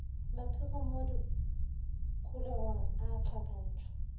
mapheko mo dikholegong a hlakantšhwa